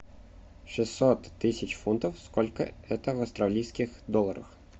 шестьсот тысяч фунтов сколько это в австралийских долларах